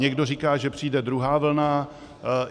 Někdo říká, že přijde druhá vlna.